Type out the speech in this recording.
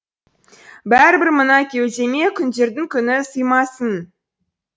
бәрібір мына кеудеме күндердің күні сыймасын